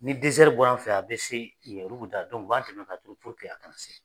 Ni dɛsɛri bɔra an fɛ yan, a bɛ se u b'a dɛmɛn k'a turu purke a kanna se